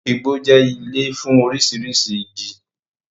Igbo jẹ́ ilé fún oríṣiríṣi igi